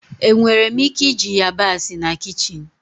Enwere m ike iji yabasị na kichin?